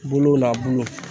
Bolo n'a bulu